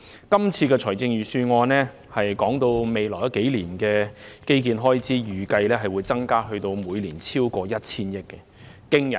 今次財政預算案提到未來數年的基建開支預計會增加至每年超過 1,000 億元，這是個驚人的數字。